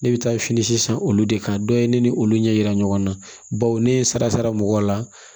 Ne bɛ taa fini sisan olu de kan dɔ ye ne ni olu ɲɛ yira ɲɔgɔn na baw ne ye sara mɔgɔw la